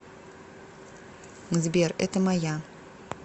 сбер это моя